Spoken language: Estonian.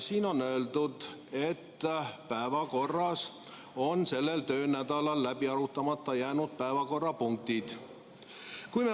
Siin on öeldud, et päevakorras on sellel töönädalal läbi arutamata jäänud päevakorrapunktid.